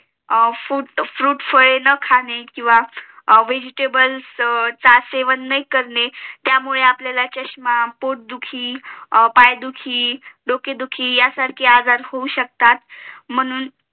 fruit फळे अन खाणे किंवा Vegetables च सेवन न करणे त्यामुळे आपल्याला चष्मा पोटदुखी पायदुखी डोकेदुखी यासारखे आजार होऊ शकतात म्हणून